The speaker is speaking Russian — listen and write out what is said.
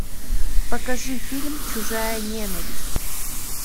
покажи фильм чужая ненависть